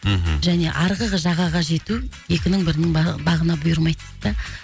мхм және арғы жағаға жету екінің бірінің бағына бұйырмайды дейді да